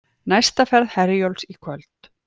Næsta ferð Herjólfs í kvöld